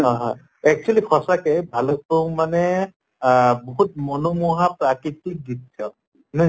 হয় হয় actually সঁচাকে ভালুক্পুং মানে আহ বহুত মনোমোহা প্ৰাকৃতিক দৃশ্য়